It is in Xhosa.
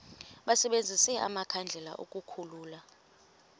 basebenzise amakhandlela ukukhulula